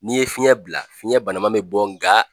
N'i ye fiɲɛ bila fiɲɛ banama bɛ bɔ nga